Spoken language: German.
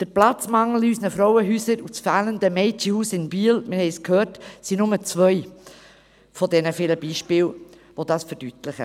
Der Platzmangel in unseren Frauenhäusern und das fehlende Mädchenhaus in Biel – wir haben es gehört – sind nur zwei der vielen Beispiele, die dies verdeutlichen.